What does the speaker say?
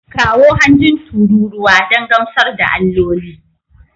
Kawo hanjin tururuwa don gamsar da alloli